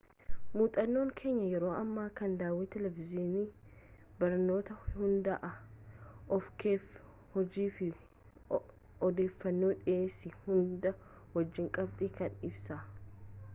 muuxannoon keenyaa yeroo ammaa kan daawii televizhinii barnootarratti hundaa’e ofii-keef-hojjedhuu fi odeeffannoo dhiyeessii hunda wajjin qabxii kana ibsa